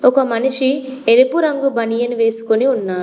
ఒక మనిషి ఎరుపు రంగు బనియన్ వేసుకొని ఉన్నారు.